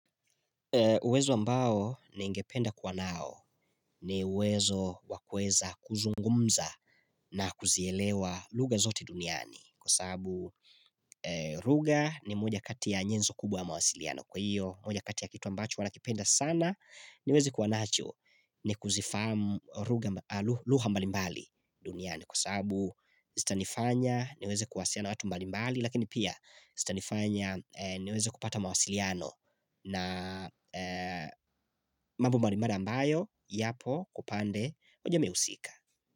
Uwezo ambao ningependa kuwa nao ni uwezo wakweza kuzungumza na kuzielewa lugha zote duniani kwa sababu lugha ni moja kati ya njenzo kubwa ya mawasiliano. Kwa hiyo moja kati ya kitu ambacho huwa nakipenda sana niweze kuwanacho ni kuzifahamu lugha mbalimbali duniani kwa sababu zitanifanya niweze kuwasiliana watu mbalimbali lakini pia zitanifanya niweze kupata mawasiliano. Na mambo mbalimbali ambayo yapo kupande unajua mimi husika.